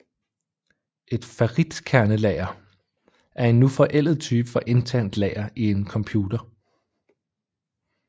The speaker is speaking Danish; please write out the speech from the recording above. Et ferritkernelager er en nu forældet type for internt lager i en computer